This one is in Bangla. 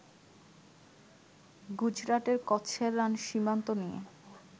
গুজরাটের কচ্ছের রান সীমান্ত নিয়ে